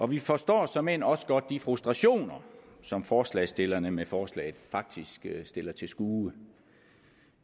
vi forstår såmænd også godt de frustrationer som forslagsstillerne med forslaget faktisk stiller til skue